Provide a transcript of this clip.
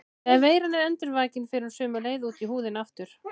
Þegar veiran er endurvakin fer hún sömu leið út í húðina aftur.